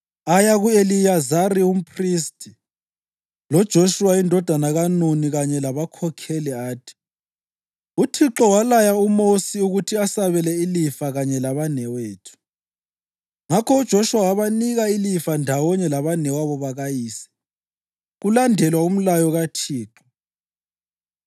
Aya ku-Eliyazari umphristi, loJoshuwa indodana kaNuni kanye labakhokheli athi, “ UThixo walaya uMosi ukuthi asabele ilifa kanye labanewethu.” Ngakho uJoshuwa wabanika ilifa ndawonye labanewabo bakayise, kulandelwa umlayo kaThixo.